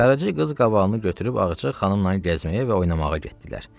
Qaraca qız qabağını götürüb ağacə xanımla gəzməyə və oynamağa getdilər.